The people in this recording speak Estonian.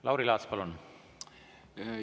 Lauri Laats, palun!